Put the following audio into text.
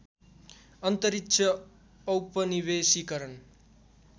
अन्तरिक्ष औपनिवेशीकरण